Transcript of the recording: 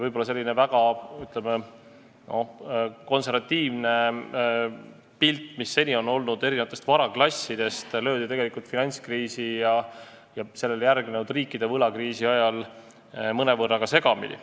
Võib-olla väga, ütleme, konservatiivne pilt erinevatest varaklassidest, mis seni oli, löödi finantskriisi ja sellele järgnenud riikide võlakriisi ajal mõnevõrra segamini.